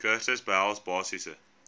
kursusse behels basiese